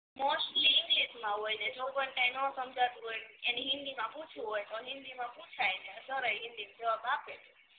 mostly English માં હોય ને જો કોઈ ને નો સમજાતું હોય એને હિન્દી માં પૂછવું હોય તો હિન્દી માં પૂછાય ને કરાય હિન્દી માં જવાબ આપે